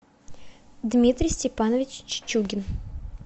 дмитрий степанович чичугин